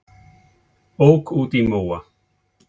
Ók út í móa